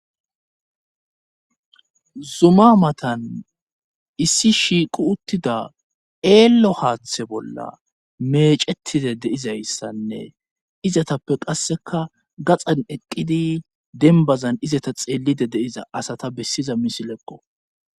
zuma matan issi shiiqu uttida eello haaththe bolla meecetide deizayssanne izatappe qasseka gaxan eqqidi denbazan izata xeelide deiza asata bessiza misilekko